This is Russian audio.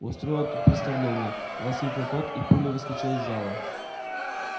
устроил тут представление воскликнул тот и пулей выскочил из зала